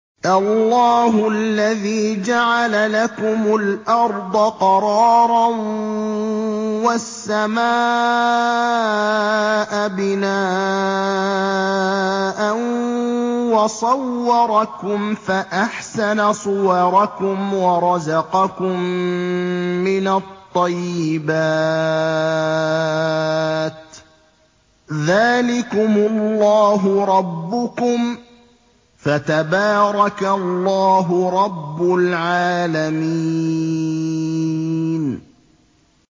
اللَّهُ الَّذِي جَعَلَ لَكُمُ الْأَرْضَ قَرَارًا وَالسَّمَاءَ بِنَاءً وَصَوَّرَكُمْ فَأَحْسَنَ صُوَرَكُمْ وَرَزَقَكُم مِّنَ الطَّيِّبَاتِ ۚ ذَٰلِكُمُ اللَّهُ رَبُّكُمْ ۖ فَتَبَارَكَ اللَّهُ رَبُّ الْعَالَمِينَ